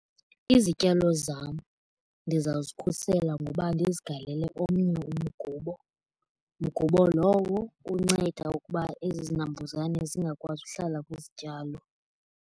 Izityalo zam ndizawuzikhusela ngoba ndizigalele omnye umgubo. Mgubo lowo unceda ukuba ezi zinambuzane zingakwazi uhlala kwizityalo.